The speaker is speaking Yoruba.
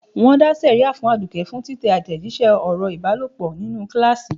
Wọn dá sẹ̀ríà fún Aduke fún títẹ àtẹ̀jíṣẹ́ ọ̀rọ̀ ìbálòpọ̀ nínú kíláàsì.